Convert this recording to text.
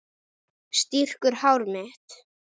Strýkur hár mitt.